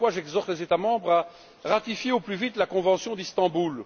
C'est pourquoi j'exhorte les États membres à ratifier au plus vite la convention d'Istanbul.